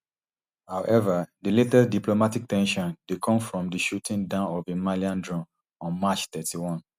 however di latest diplomatic ten sion dey come from di shooting down of a malian drone on march thirty-one